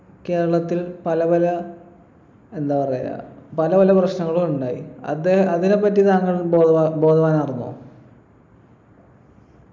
കേരളത്തിൽ പലപല എന്താ പറയാ പലപല പ്രശ്നങ്ങളും ഉണ്ടായി അത് അതിനെപ്പറ്റി താങ്കൾ ബോധവാ ബോധവനാർന്നോ